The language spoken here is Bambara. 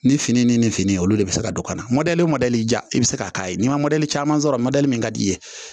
Ni fini ni fini olu de bɛ se ka don ka na mɔdɛli mɔdɛli ja i bɛ se ka k'a ye n'i maduli caman sɔrɔ mɔdɛli min ka di i ye